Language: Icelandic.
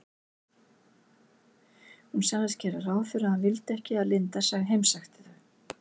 Hún sagðist gera ráð fyrir að hann vildi ekki að linda heimsækti þau.